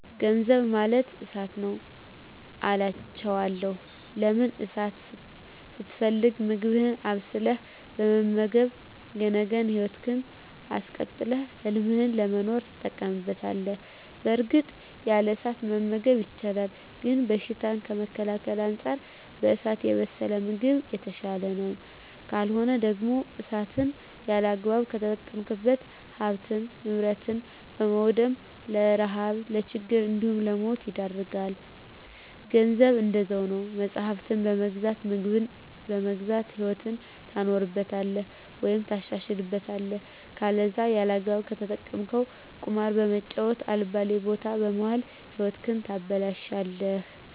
ገንዘብ ማለት እሳት ነዉ አላቸዋለሁ። ለምን እሳትን ስትፈልግ ምግብህን አብስለህ በመመገብ የነገ ህይወትህን አስቀጥለህ ህልምህን ለመኖር ትጠቀምበታለህ በእርግጥ ያለ እሳት መመገብ ይቻላል ግን በሽታን ከመከላከል አንፃር በእሳት የበሰለ ምግብ የተሻለ ነዉ። ካልሆነ ደግሞ እሳትን ያለአግባብ ከተጠቀምክ ሀብትን ንብረት በማዉደም ለረሀብ ለችግር እንዲሁም ለሞት ይዳርጋል። ገንዘብም እንደዛዉ ነዉ መፅሀፍትን በመግዛት ምግብን በመግዛት ህይወትህን ታኖርበታለህ ወይም ታሻሽልበታለህ ከለዛ ያለአግባብ ከተጠቀምከዉ ቁማር በመጫወት አልባሌ ቦታ በመዋል ህይወትህን ታበላሸለህ።